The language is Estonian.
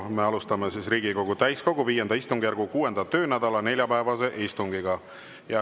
Me alustame Riigikogu täiskogu V istungjärgu 6. töönädala neljapäevast istungit.